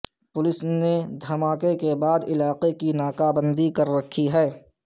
police نے دھماکے کے بعد علاقے کی ناکہ بندی کر رکھی ہے